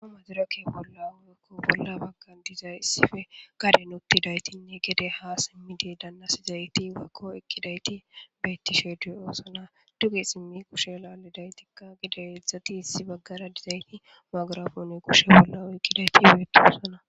a madirake bolla uuyekko bolla bagga dizayssife kadenotidaytinne gede ha simmide danna sizayti wakko ikkidayti beyttisheeduy oosana dugi simmi kushela alidaytikka gideyedzdzati issi baggara dizayti magraboni koshe bollao ekkidayti beeti oosana